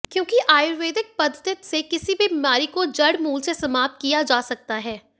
क्योंकि आयुर्वेद पद्धित से किसी भी बीमारी को जड़मूल से समाप्त किया जा सकता है